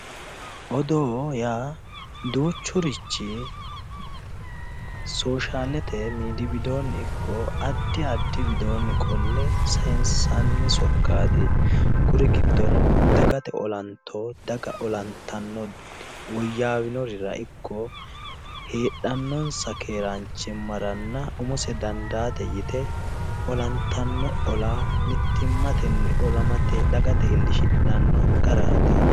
odoo yaa duuchurichi soshalete midii widoonni ikko addi addi widoonni qolle sayiinsanni sokkaati kuri giddono dagate olanto daga olantanno woyyaawinorira ikko heedhannonsa keeraanchimmaranna umose dandaate yite olantanno ola mittimmate mittimmatenni olamatenni dagate iillishshidhanno garaati.